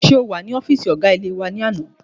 Ṣé o wà ní ọ́fìsì ọgá ilé-ìwé náà ní àná?